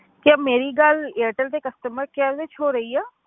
ਕੀ ਮੇਰੀ ਗੱਲ ਏਅਰਟੈਲ ਦੇ customer care ਵਿੱਚ ਹੋ ਰਹੀ ਹੈ?